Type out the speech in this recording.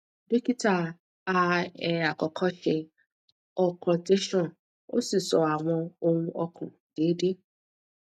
dokita a e akọkọ ṣe auscultation o si sọ awọn ohun ọkan deede